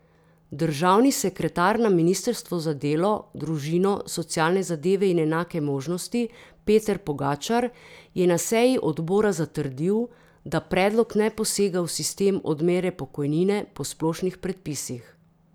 Državni sekretar na ministrstvu za delo, družino, socialne zadeve in enake možnosti Peter Pogačar je na seji odbora zatrdil, da predlog ne posega v sistem odmere pokojnine po splošnih predpisih.